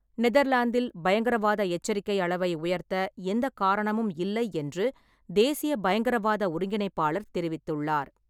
நெதர்லாந்தில் பயங்கரவாத எச்சரிக்கை அளவை உயர்த்த எந்த காரணமும் இல்லை என்று தேசிய பயங்கரவாத ஒருங்கிணைப்பாளர் தெரிவித்துள்ளார்.